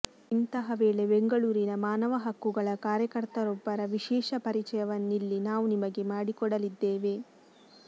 ಇಂತಹಾ ವೇಳೆ ಬೆಂಗಳೂರಿನ ಮಾನವ ಹಕ್ಕುಗಳ ಕಾರ್ಯಕರ್ತರೊಬ್ಬರ ವಿಶೇಷ ಪರಿಚಯವನ್ನಿಲ್ಲಿ ನಾವು ನಿಮಗೆ ಮಾಡಿಕೊಡಲಿದ್ದೇವೆ